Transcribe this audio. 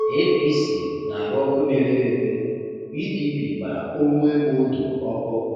APC na-arụ ọkụ na-efe efe- PDP gbara Onwuemeodo ọkụ.